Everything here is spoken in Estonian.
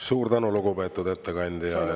Suur tänu, lugupeetud ettekandja!